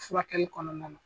Furakɛli kɔnɔna na.